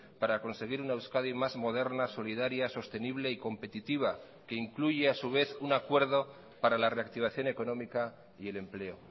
para conseguir una euskadi más moderna solidaria sostenible y competitiva que incluye a su vez un acuerdo para la reactivación económica y el empleo